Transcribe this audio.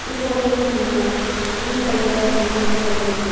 ये फोटो में हमको ग्रीन कलर का टीना दिखाई दे रहे हैं।